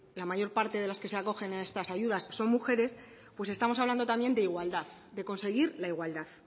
la mayor parte de las que se acogen a estas ayudas son mujeres pues estamos hablando también de igualdad de conseguir la igualdad